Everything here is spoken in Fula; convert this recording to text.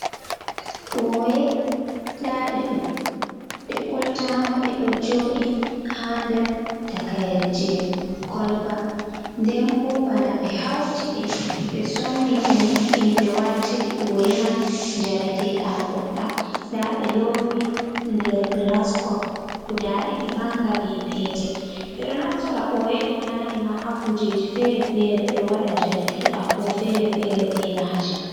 Ɓoye ndaɗe ɗo ɗe ɓoltama ɗo jooɗi ha nder takaire je koloba nden bo bana ɓe hauti ɗe ɓe somni ɓe mo’ini ɓe wartiri ɓoye man jareteɗam goɗɗam nda ɓe lowi nder gilas kop guda ɗiɗi manga be petel. Ɓeɗo naftora ɓoye ɗo nane ma hakujeji fere-fere ɓeɗo waɗa njareteɗam bo fere-fere be maje.